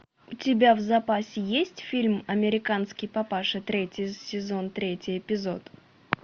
у тебя в запасе есть фильм американский папаша третий сезон третий эпизод